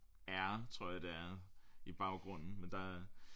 Air tror jeg det er i baggrunden men der